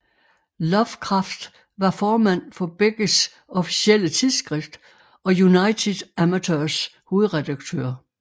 Lovecraft var formand for begges officielle tidsskrift og United Amateurs hovedredaktør